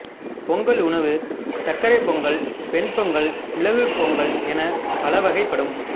பொங்கல் உணவு சர்க்கரைப் பொங்கல் வெண் பொங்கல் மிளகுப் பொங்கல் எனப் பல வகைப்படும்